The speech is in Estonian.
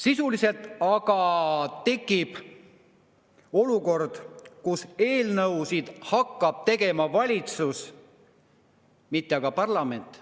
Sisuliselt aga tekib olukord, kus eelnõusid hakkab tegema valitsus, mitte parlament.